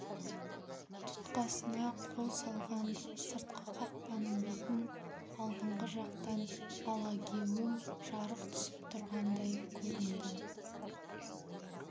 тұтқасына қол салған сыртқы қақпаның бетін алдыңғы жақтан алагеуім жарық түсіп тұрғандай көрінді